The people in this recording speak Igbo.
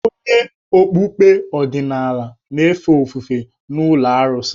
Onye okpukpe ọdịnala na-efe ofufe n’ụlọ arụsị.